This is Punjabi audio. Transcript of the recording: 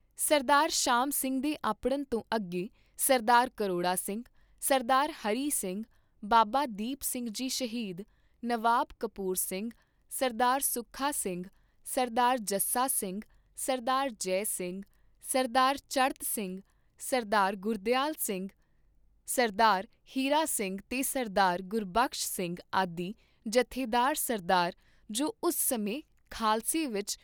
ਸਰਦਾਰ ਸ਼ਾਮ ਸਿੰਘ ਦੇ ਅੱਪੜਨ ਤੋਂ ਅੱਗੇ ਸਰਦਾਰ ਕਰੋੜਾ ਸਿੰਘ, ਸਰਦਾਰ ਹਰੀ ਸਿੰਘ, ਬਾਬਾ ਦੀਪ ਸਿੰਘ ਜੀ ਸ਼ਹੀਦ, ਨਵਾਬ ਕਪੂਰ ਸਿੰਘ, ਸਰਦਾਰ ਸੁੱਖਾ ਸਿੰਘ, ਸਰਦਾਰ ਜੱਸਾ ਸਿੰਘ, ਸਰਦਾਰ ਜੈ ਸਿੰਘ, ਸਰਦਾਰ ਚੜ੍ਹਤ ਸਿੰਘ, ਸ੍ਰਦਾਰ ਗੁਰਦਿਆਲ ਸਿੰਘ, ਸ੍ਰਦਾਰ ਹੀਰਾ ਸਿੰਘ ਤੇ ਸ੍ਰਦਾਰ ਗੁਰਬਖਸ਼ ਸਿੰਘ ਆਦਿ ਜਥੇਦਾਰ ਸ੍ਰਦਾਰ, ਜੋ ਉਸ ਸਮੇਂ ਖਾਲਸੇ ਵਿਚ